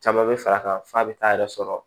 Caman bɛ fara a kan f'a bɛ taa yɛrɛ sɔrɔ